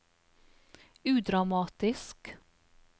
udramatisk